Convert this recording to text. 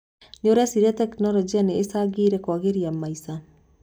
Nĩũreciria tekinologĩ nĩ ĩcangĩire kwagĩria maica?